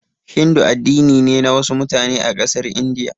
Hindu addini ne na wasu mutane a ƙasar India.